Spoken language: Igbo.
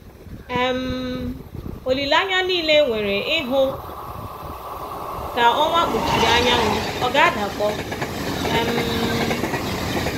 um Olileanya nile e nwere ịhụ ka ọnwa kpuchiri anyanwụ ọ̀ ga-adakpọ? um